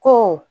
Ko